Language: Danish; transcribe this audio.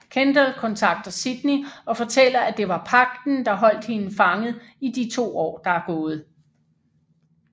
Kendall kontakter Sydney og fortæller at det var Pagten der holdt hende fanget i de 2 år der er gået